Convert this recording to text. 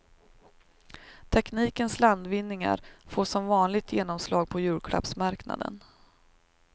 Teknikens landvinningar får som vanligt genomslag på julklappsmarknaden.